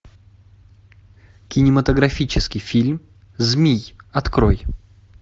кинематографический фильм змий открой